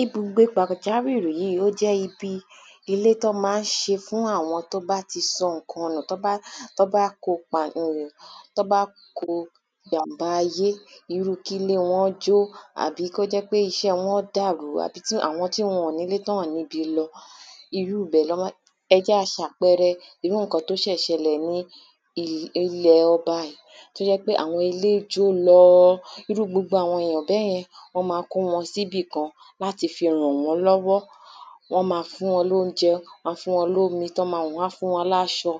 Ibùgbé pàjáwìr̀i yìí ó jẹ́ ibi ilé tí wọ́n máa ń ṣe fún àwọn tí wọ́n bá sọ nǹkan nù tí wọ́n bá tí wọ́n bá kó pa tí wọ́n bá kọ ìjàm̀bá ayé Irú kí ilé wọn jó Àbí kí ó jẹ́ pé iṣẹ́ wọn dàrú àbí tí àwọn tí wọ́n ò ní ilé tí wọn ò ní ibi lọ Irú ní wọn máa ń ẹ jẹ́ a ṣe àpẹẹrẹ irú nǹkan tí ó ṣe ṣẹlè ní ilẹ̀ ọba yìí tí ó jẹ́ pé àwọn ilé jó lọọ Irú gbogbo àwọn èyàn bẹ́ẹ̀ yẹn wọ́n ma kó wọn sí ibi kan láti fi rànwọ́nlọ́wọ́ Wọ́n ma fún wọn ni óunjẹ wọ́n á fún wọn ní omi tí wọ́n ma mu wọ́n á fún wọn ní aṣọ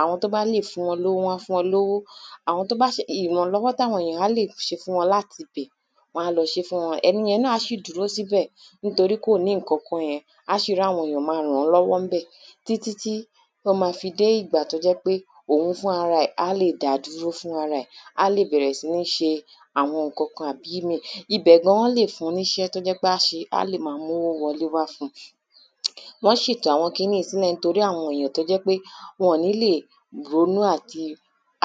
Àwọn tí o bá lè fún wọn ní owó wọ́n á fún wọn ní owó Àwọn tí ó bá ìrànlọ́wọ́ tí àwọn èyàn á lè ṣe fún wọn láti ibẹ̀ wọ́n á lọ ṣe é fún wọn Ẹni yẹn náà á ṣì dúró sí ibẹ̀ nítorí kò ní nǹkan yẹn A ṣì rí àwọn èyàn máa ràn án lọ́wọ́ ńbẹ̀ títí tí tí ó ma fi dé ìgbà tí ó jẹ́ pé òhun fúnrara ẹ̀ á lè dá dúró fúnra ra ẹ̀ Á lè bẹ̀rẹ̀ sí ní ṣe àwọn nǹkankan àbí ìmíì Ibẹ̀ gan wọ́n lè fun ní iṣẹ́ tí ó jẹ́ ń pé á á ṣe á lè ma mú owó wọlé wá fún un Wọn ṣètò àwọn kiní yìí sílẹ̀ torí àwọn èyàn tí ó jẹ́ pé wọ́n ò ní lè ronu àti lè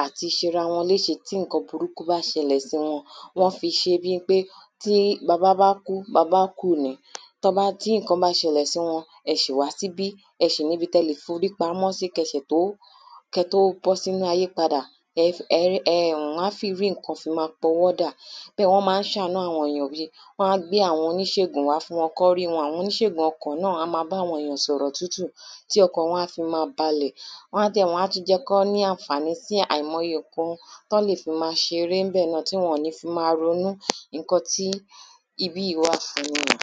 àti ṣe ara ní èṣe tí nǹkan burúku bá ṣẹlè sí wọn Wọn fi ṣe bí ń pe tí baba bá kú babá kù ni Ti nǹkan bá ṣẹlè sí wọn ẹ ṣì wá sí ibí ẹ ṣì ní ibi tí ẹ lè fi orí pàmọ́ sí kí ẹ ṣẹ̀ tó kí ẹ tó bọ́ sí inú ayé padà Ẹ um wọ́n á fi rí nǹkan fi máa pawọ́dà Bẹ́ẹ̀ wọ́n máa ń ṣàánú àwọn èyàn bíi Wọ́n á gbé àwọn oníṣègùn wà fún wọn kí wọ́n rí wọn Àwọn oníṣègùn ọkàn náà á máa bá àwọn èyàn sọ̀rọ̀ tútù tí ọkàn wọn á fi máa balẹ̀ Wọ́n á dẹ̀ wọ́n á tú jẹ́ kí wọ́n ní àǹfàní sí àìmọye nǹkan tí wọ́n lè fi ma ṣeré ńbẹ̀ náà tí wọ́n ò ní fi máa ronu Nǹkan tí ibi yìí wà fún nìyẹn